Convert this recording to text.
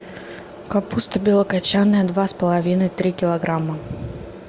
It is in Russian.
капуста белокочанная два с половиной три килограмма